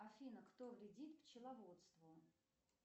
афина кто вредит пчеловодству